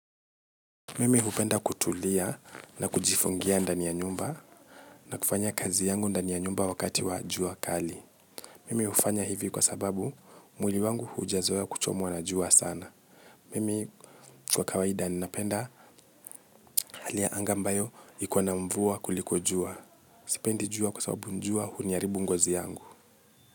Mimi hupenda kutulia na kujifungia ndani ya nyumba na kufanya kazi yangu ndani ya nyumba wakati wa jua kali. Mimi hufanya hivi kwa sababu mwili wangu haujazoea kuchomwa na jua sana. Mimi kwa kawaida ninapenda hali ya anga mbayo iko na mvua kuliko jua. Sipendi jua kwa sababu jua huniharibu ngozi yangu.